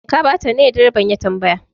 Ka bata ne? direban ya tambaya.